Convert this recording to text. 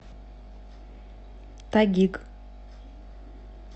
тагиг